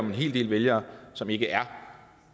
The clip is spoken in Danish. en hel del vælgere som ikke er